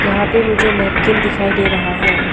यहां पे मुझे नैपकिन दिखाई दे रहा है।